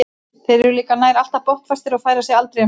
Þeir eru líka nær alltaf botnfastir og færa sig aldrei um set.